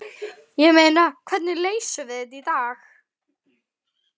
Ég meina, hvernig leysum við þetta í dag?